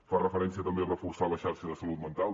fa referència també a reforçar la xarxa de salut mental